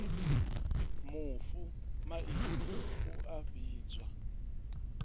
mufu maine u a vhidzwa